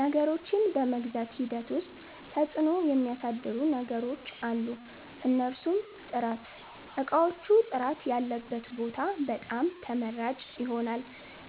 ነገሮችን በመግዛት ሂደት ዉስጥ ተፅዕኖ ሚያሣድሩ ነገሮች አሉ። እነርሡም፦ ጥራት እቃዎቹ ጥራት ያለበት ቦታ በጣም ተመራጭ ይሆናል።